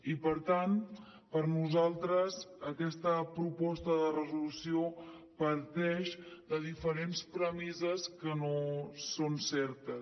i per tant per nosaltres aquesta proposta de resolució parteix de diferents premisses que no són certes